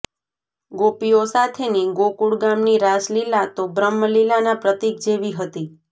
ગોપીઓ સાથેની ગોકુળ ગામની રાસલીલા તો બ્રહ્મલીલાના પ્રતીક જેવી હતી